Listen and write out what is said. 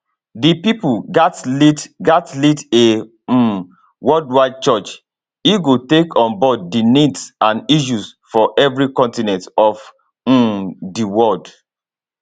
di pope gatz lead gatz lead a um worldwide church e go take on board di needs and issues for evri continent of um di world